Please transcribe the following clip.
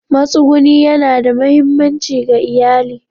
Matsuguni yana da mahimmanci ga iyali.